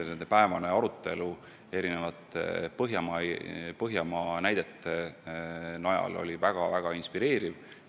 Nende arutelu, kus toodi palju näiteid Põhjamaadest, oli väga inspireeriv.